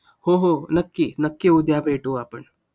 हो. हो. नक्की. नक्की उद्या भेटू आपण.